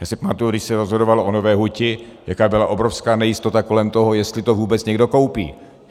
Já si pamatuji, když se rozhodovalo o Nové huti, jaká byla obrovská nejistota kolem toho, jestli to vůbec někdo koupí.